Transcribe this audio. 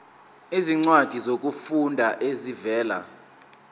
izincwadi zokufunda ezivela